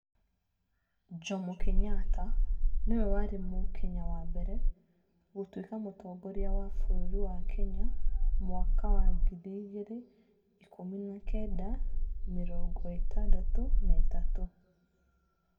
Jomo Kenyatta nĩwe warĩ Mũkenya wa mbere gũtuĩka mũtongoria wa bũrũri wa Kenya mwaka wa ngiri ikũmi na kenda mĩrongo ĩtandatũ na ĩtatũ.